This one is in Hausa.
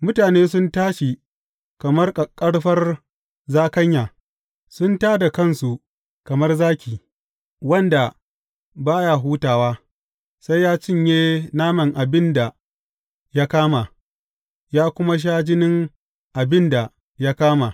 Mutane sun tashi kamar ƙaƙƙarfar zakanya; sun tā da kansu kamar zaki wanda ba ya hutawa sai ya cinye naman abin da ya kama ya kuma sha jinin abin da ya kama.